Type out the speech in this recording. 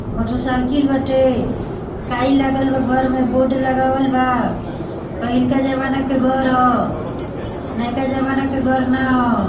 Motor cycle बाटे काई लागल बा घर में बोर्ड लागल बा पहिलका जमाने का घर है नायिका जमाना का घर ना है।